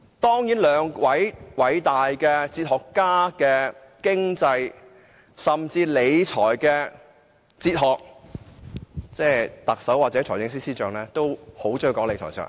他們兩位偉大哲學家的經濟甚至理財哲學皆截然不同，而特首和財政司司長也很喜歡談理財哲學。